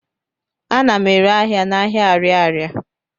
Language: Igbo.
Ana m ere ahịa n'ahịa Arịarịa.